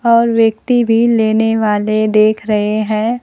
और व्यक्ति भी लेने वाले देख रहे हैं।